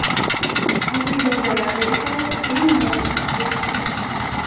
Oddiy dozalarda esa bemalol qabul qilish mumkin.